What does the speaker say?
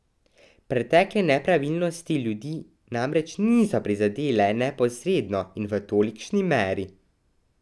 Pretekle nepravilnosti ljudi namreč niso prizadele neposredno in v tolikšni meri.